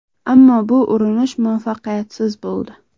Ammo bu urinish muvaffaqiyatsiz bo‘ldi.